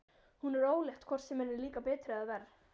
Hún er ólétt hvort sem henni líkar betur eða verr.